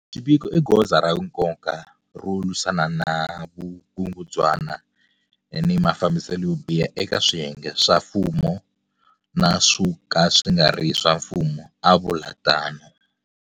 Xiviko i goza ra nkoka ro lwisana na vukungundzwana ni mafambiselo yo biha eka swiyenge swa mfumo na swo ka swi nga ri swa mfumo, a vula tano.